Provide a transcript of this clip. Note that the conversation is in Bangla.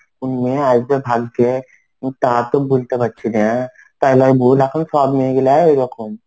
মেয়েও আসবে ভাগ্যে তা তো বলতে পারছি না তাহলে আমি ভুল এখন সব মেয়েগুলা এরকম.